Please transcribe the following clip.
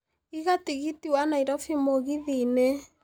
iga tigiti wa Nairobi mũgithi-inĩ